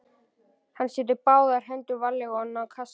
Hann setur báðar hendur varlega ofan í kassann.